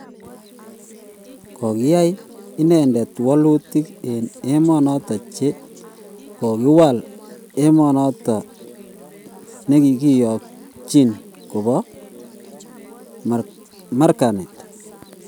Kokoyai inendet wolutik en emonoton che kogowal emonoton negigiyonjin kopo marganet